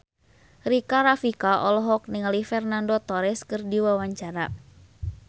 Rika Rafika olohok ningali Fernando Torres keur diwawancara